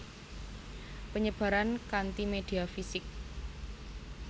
Penyebaran kanti media fisik